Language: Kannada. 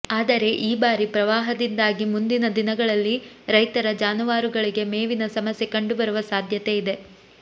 ಆದರೆ ಈ ಬಾರಿ ಪ್ರವಾಹದಿಂದಾಗಿ ಮುಂದಿನ ದಿನಗಳಲ್ಲಿ ರೈತರ ಜಾನುವಾರುಗಳಿಗೆ ಮೇವಿನ ಸಮಸ್ಯೆ ಕಂಡುಬರುವ ಸಾಧ್ಯತೆಯಿದೆ